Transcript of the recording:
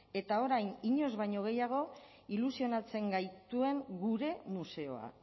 eta orain inoiz baino gehiago ilusionatzen gaituen gure museoa